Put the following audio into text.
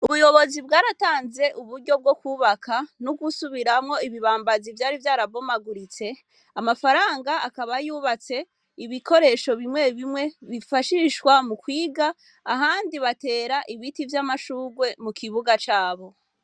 Ubuyobozi bwaratanze uburyo bwo kwubaka no gusubirwamwo ibibambazi vyari vyarabomaguritse, amafaranga akaba yubatse ibikoresho bimwe bimwe bifashishwa mu kwiga ahandi batera ibiti vy'amashurwe mu kibuga cabo.